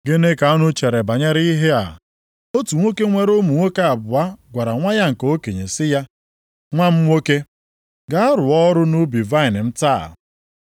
“Gịnị ka unu chere banyere ihe a? Otu nwoke nwere ụmụ nwoke abụọ gwara nwa ya nke okenye sị ya, ‘Nwa m nwoke, gaa rụọ ọrụ nʼubi vaịnị m taa.’